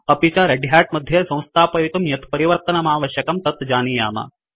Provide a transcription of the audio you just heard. अपि च red hat मध्ये संस्थापयितुं यत् परिवर्तनमावश्यकं तत् जानीयाम